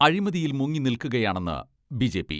അഴിമതിയിൽ മുങ്ങി നിൽക്കുകയാണെന്ന് ബി.ജെ.പി.